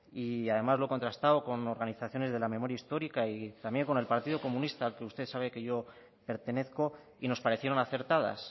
y además lo he contrastado con organizaciones de la memoria histórica y también con el partido comunista al que usted sabe que yo pertenezco y nos parecieron acertadas